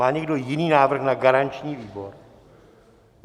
Má někdo jiný návrh na garanční výbor?